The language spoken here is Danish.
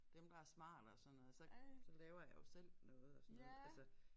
Dem der smarte og sådan noget så så laver jeg jo selv noget og sådan noget altså